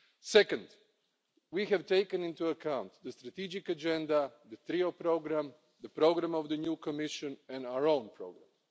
Second, we have taken into account the strategic agenda, the trio programme, the programme of the new Commission and our own programme.